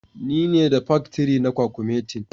ni ne da paktiri na kwakumetin.